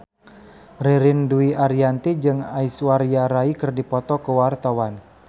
Ririn Dwi Ariyanti jeung Aishwarya Rai keur dipoto ku wartawan